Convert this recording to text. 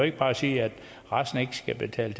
ikke bare sige at resten ikke skal betale